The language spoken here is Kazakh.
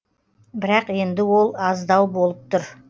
бірақ енді ол аздау болып тұр